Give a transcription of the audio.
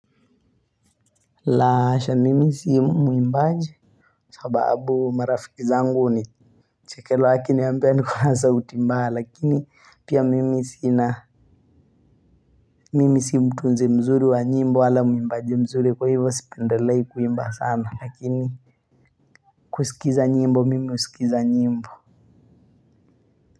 La hasha mimi si mwimbaji sababu marafiki zangu hunichekelea wakiniambia niko na sauti mbaya lakini pia mimi sina mimi si mtu mzee mzuri wa nyimbo wala muimbaji mzuri kwa hivo sipendelei kuimba sana lakini kusikiza nyimbo mimi husikiza nyimbo. Kwa hivyo.